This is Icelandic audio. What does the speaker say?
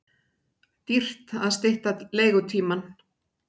Dýrt að stytta leigutímann